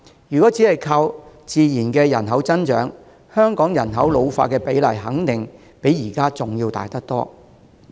如果只靠人口的自然增長，香港人口老化的比例肯定較現在大得多。